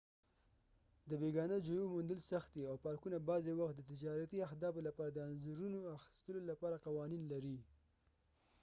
د بیګانه ژویو موندل سخت دي او پارکونه بعضې وخت د تجارتي اهدافو لپاره د انځورونو اخیستلو لپاره قوانین لري